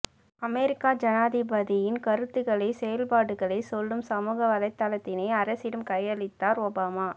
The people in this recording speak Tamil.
அமெரிக்க ஜனாதிபதியின் கருத்துக்களை செயல்பாடுகளை சொல்லும் சமுக வலைத் தளத்தினை அரசிடம் கையளித்தார் ஒபாமா